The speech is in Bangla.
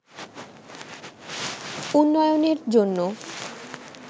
উন্নয়নের জন্য